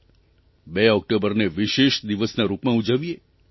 2 ઓકટોબરને વિશેષ દિવસના રૂપમાં ઉજવીએ